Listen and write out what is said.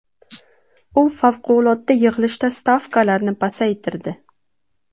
U favqulodda yig‘ilishda stavkalarni pasaytirdi .